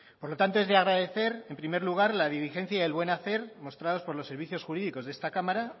por lo tanto es de agradecer en primer lugar la diligencia y el buen hacer mostrados por los servicios jurídicos de esta cámara